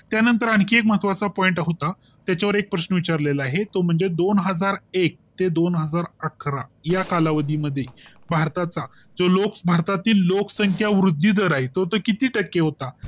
त्यानंतर आणखी एक महत्त्वाचा Point होता त्याच्या वर एक प्रश्न विचारलेला आहे तो म्हणजे दोन हजार एक ते दोन हजार अकरा या कालावधी मध्ये भारताचा जो लोक, भारतातील लोकसंख्या वृद्धीदर आहे तो किती टक्के होता